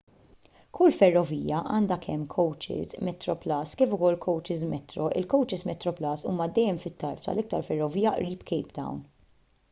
kull ferrovija għandha kemm kowċis metroplus kif ukoll kowċis metro il-kowċis metroplus huma dejjem fit-tarf tal-iktar ferrovija qrib cape town